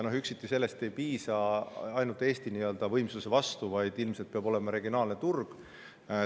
Aga üksiti sellest ei piisa ainult Eesti võimsuse vastu, vaid ilmselt peab olema regionaalne turg.